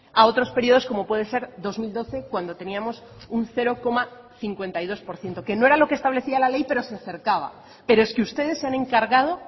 a otros periodos como puede ser dos mil doce cuando teníamos un cero coma cincuenta y dos por ciento que no eran lo que establecía la ley pero se acercaba pero es que ustedes se han encargado